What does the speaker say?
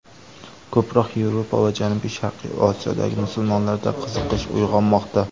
Ko‘proq Yevropa va janubiy-sharqiy Osiyodagi musulmonlarda qiziqish uyg‘onmoqda.